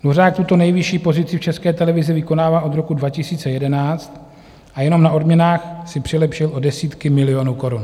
Dvořák tuto nejvyšší pozici v České televizi vykonává od roku 2011 a jenom na odměnách si přilepšil o desítky milionů korun.